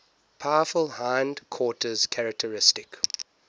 powerful hindquarters characteristic